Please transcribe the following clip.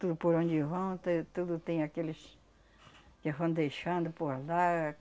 Tudo por onde vão, te tudo tem aqueles que vão deixando por lá.